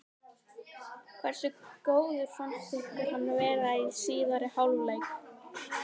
Hversu góður fannst ykkur hann vera í síðari hálfleik?